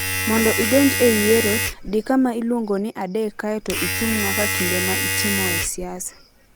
Mondo idonj e yiero, di kama iluongo ni 3 kae to ichung' nyaka kinde ma itimoe siasa.